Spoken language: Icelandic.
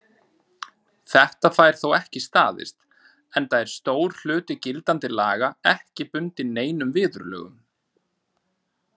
Þetta fær þó ekki staðist, enda er stór hluti gildandi laga ekki bundinn neinum viðurlögum.